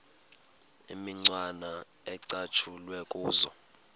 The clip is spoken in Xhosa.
imicwana ecatshulwe kuzo